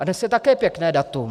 A dnes je také pěkné datum.